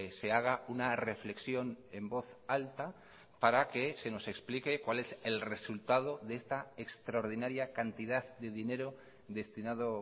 se haga una reflexión en voz alta para que se nos explique cuál es el resultado de esta extraordinaria cantidad de dinero destinado